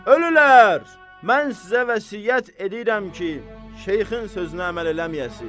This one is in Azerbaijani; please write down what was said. Ölürlər, mən sizə vəsiyyət edirəm ki, şeyxin sözünə əməl eləməyəsiz.